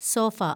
sofa